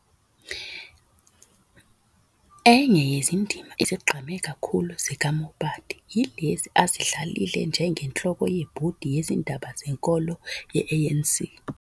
Enye yezindima ezigqame kakhulu zikaMompati yilezo azidlalile njengenhloko yeBhodi Yezindaba Zenkolo ye-ANC.